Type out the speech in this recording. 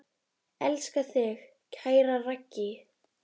Elska þig, kæra Raggý.